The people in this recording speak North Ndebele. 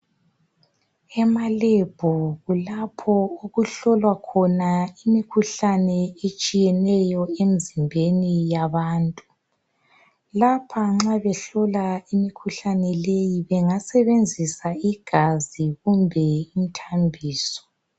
Emalebhu kulapho okuhlolwa khona imikhuhlane etshiyeneyo emizimbeni yabantu. Lapha nxa behlola imikhuhlane le bengasebenzisa igazi kumbe imithambiso.